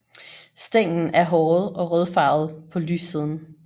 Stænglen er håret og rødfarvet på lyssiden